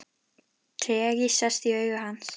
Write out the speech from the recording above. Tregi sest í augu hans.